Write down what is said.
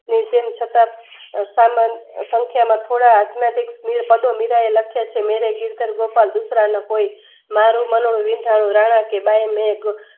નીર દેન શકાત અશામાન સંખ્યાના થોડા આધ્યામિક પદો મીરાંએ લખ્યા છે. મેરે ચિંતન ગોપાલ ડુસરાના કોઈ મારુંમન વિંધાયું રણાકી બાઈ મેઘ